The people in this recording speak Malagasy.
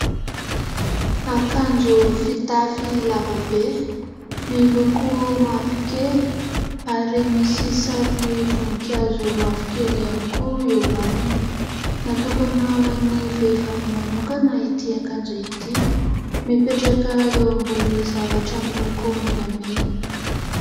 Akanjo fitafy lavabe, miloko mavokely ary misy sariny voninkazo mavokely ihany koa eo aminy. Natokana ho an'ny vehivavy manokana ity akanjo ity ; mipetraka eo ambony zavatra miloko menamena.